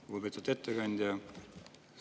Lugupeetud ettekandja!